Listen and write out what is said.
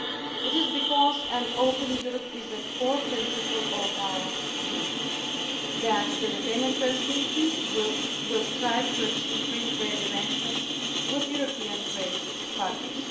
current borders. It is because an Open Europe is a core principle of our Union that the Lithuanian Presidency will strive to achieve free trade arrangements with European